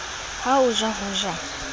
ha o ja ho ja